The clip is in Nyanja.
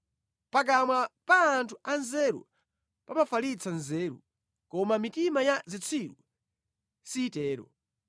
Pakamwa pa anthu anzeru pamafalitsa nzeru; koma mitima ya zitsiru sitero.